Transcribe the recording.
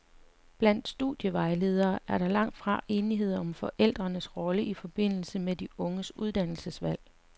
Blandt studievejledere er der langt fra enighed om forældres rolle i forbindelse med de unges uddannelsesvalg.